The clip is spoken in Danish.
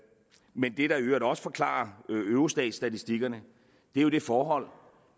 men det der i øvrigt også forklarer eurostatstatistikkerne er jo det forhold